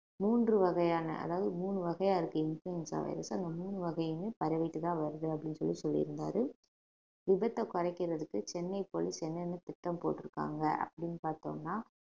மூன்று வகையான அதாவது மூணு வகையா இருக்கு இன்ஃபுளுவென்சா அந்த மூணு வகையுமே பரவிட்டுதான் வருது அப்படின்னு சொல்லி சொல்லியிருந்தாரு விபத்தை குறைக்கிறதுக்கு சென்னை போலீஸ் என்னென்ன திட்டம் போட்டிருக்காங்க அப்படின்னு பார்த்தோம்ன்னா